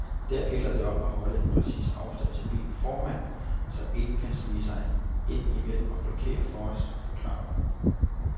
Der gælder det om at holde en præcis afstand til bilen foran, så ingen kan snige sig ind imellem og blokere for os, forklarer hun.